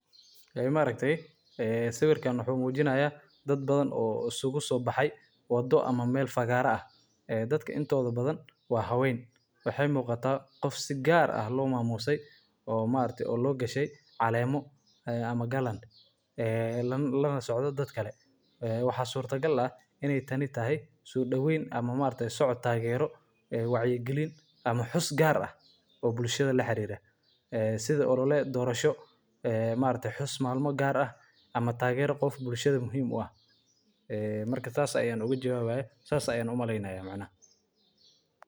Olole waa qorshe abaabulan oo lagu doonayo in lagu gaaro hadaf gaar ah, sida wacyigelin bulshada dhexdeeda ah, kordhinta taageerada siyaasadeed, ama dhiirrigelinta isbeddel bulshada. Olole kasta wuxuu ka kooban yahay tallaabooyin taxane ah oo si nidaamsan loo fuliyo, iyadoo la adeegsanayo qalabyo kala duwan sida warbaahinta, shirarka, boorarka.